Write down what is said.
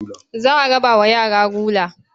Za a raba wa yara rula.